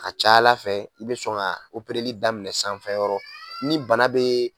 A ka ca ala fɛ i bɛ sɔn ka o opereirili daminɛ sanfɛyɔrɔ ni bana bɛ yen